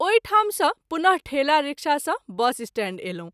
ओहि ठाम सँ पुन: ठेला रिक्शा सँ बस स्टैंड अयलहुँ।